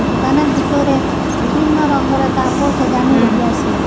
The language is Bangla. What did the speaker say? দোকানের ভিতরে বিভিন্ন রঙ্গের কাপড় সাজানো রহিয়াসে।